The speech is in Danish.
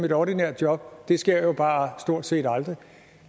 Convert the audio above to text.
et ordinært job det sker jo bare stort set aldrig